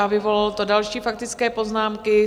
A vyvolalo to další faktické poznámky.